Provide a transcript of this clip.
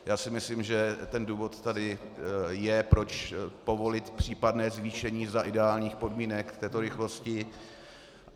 Já si myslím, že ten důvod tady je, proč povolit případné zvýšení za ideálních podmínek této rychlosti.